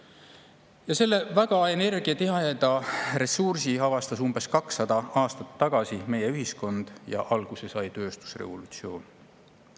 Ja selle väga energiatiheda ressursi avastas ühiskond umbes 200 aastat tagasi ja alguse sai tööstusrevolutsioon.